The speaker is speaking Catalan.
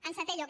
en setè lloc